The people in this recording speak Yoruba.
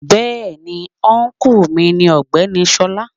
Bẹ́ẹ̀ni ọ́nkù mi ni ọ̀gbẹ́ni Ṣọlá.